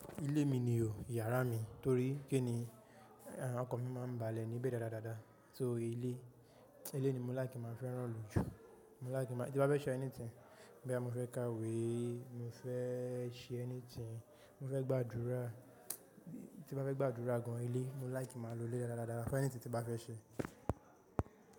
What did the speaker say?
Ilé mi ni o, yàrá mi torí kíni àh ọkan mi máa ń balẹ̀ níbẹ̀ dáradára. So ilé, ilé ni mo láìkí máa fẹ́rán lo jù. Mo láìkí ki maá, tí bá fẹ́ ṣe anything boyá mo fẹ́ ká ìwé, mo fẹ́ ṣe anything, mo fẹ́ gbàdúrà, tí mo fẹ́ gbàdúrà gan ilé mo láìkí máa lo ilé dádadáda fún anything tí n bá fẹ́ ṣe.